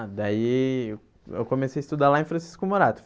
Ah, daí eu eu comecei a estudar lá em Francisco Murato.